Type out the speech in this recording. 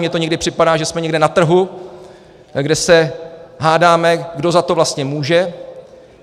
Mně to někdy připadá, že jsme někde na trhu, kde se hádáme, kdo za to vlastně může.